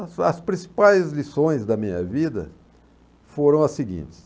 As as principais lições da minha vida foram as seguintes.